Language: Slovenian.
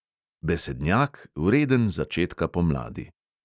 Besednjak, vreden začetka pomladi.